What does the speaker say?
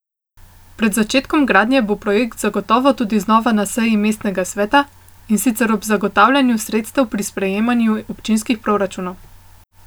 Pred začetkom gradnje bo projekt zagotovo tudi znova na seji mestnega sveta, in sicer ob zagotavljanju sredstev pri sprejemanju občinskih proračunov.